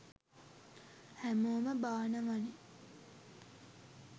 හැමෝම බානවනෙ